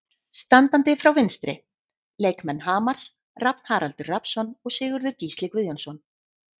Standandi frá vinstri: Leikmenn Hamars, Rafn Haraldur Rafnsson og Sigurður Gísli Guðjónsson.